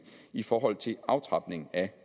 i forhold til aftrapningen af